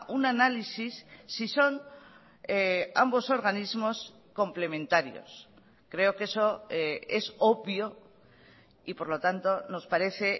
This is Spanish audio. un análisis si son ambos organismos complementarios creo que eso es obvio y por lo tanto nos parece